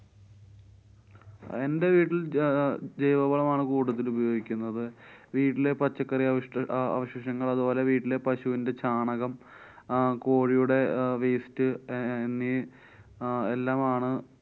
എന്‍ടെ വീട്ടില്‍ ജൈവവളമാണ് കൂടുതല്‍ ഉപയോഗിക്കുന്നത്. വീട്ടിലെ പച്ചക്കറികള്‍ക്ക് ആ ആവശ്യത്തിനുള്ളത് ഓരെ വീട്ടിലെ പശുവിന്‍ടെ ചാണകം അഹ് കോഴിയുടെ അഹ് waste എഹ്~ എന്നീ അഹ് എല്ലാം ആണ്